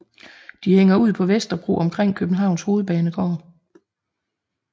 De hænger ud på Vesterbro omkring Københavns Hovedbanegård